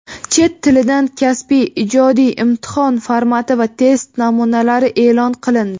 Chet tilidan kasbiy (ijodiy) imtihon formati va test namunalari eʼlon qilindi.